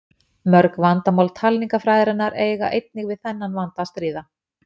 Mörg vandamál talningarfræðinnar eiga einnig við þennan vanda að stríða.